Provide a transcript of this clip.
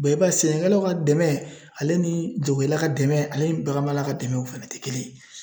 i b'a ye sɛnɛkɛlaw ka dɛmɛ, ale ni jagokɛla ka dɛmɛ, ale ni baganmarala ka dɛmɛ, o fana tɛ kelen ye.